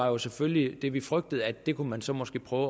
var selvfølgelig det vi frygtede nemlig at det kunne man så måske prøve